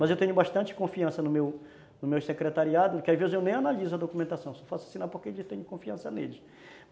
Mas eu tenho bastante confiança no meu no meu secretariado, que às vezes eu nem analiso a documentação, só faço assinar porque eu tenho confiança neles.